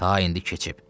Ta indi keçib.